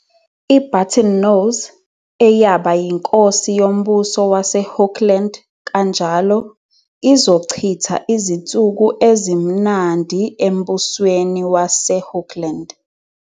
I-Buttonnose, eyaba yinkosi yoMbuso WaseHookland kanjalo, izochitha izinsuku ezimnandi eMbusweni WaseHookland